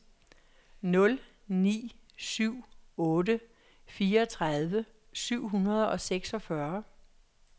nul ni syv otte fireogtredive syv hundrede og seksogfyrre